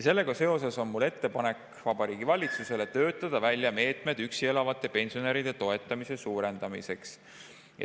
Sellega seoses on mul ettepanek Vabariigi Valitsusele töötada välja meetmed üksi elavate pensionäride toetamise suurendamiseks.